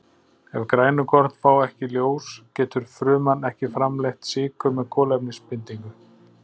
Ef grænukorn fá ekki ljós getur fruman ekki framleitt sykur með kolefnisbindingu.